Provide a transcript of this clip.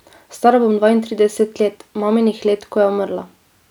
Stara bom dvaintrideset let, maminih let, ko je umrla.